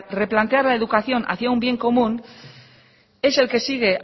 replantear la educación hacia un bien común es el que sigue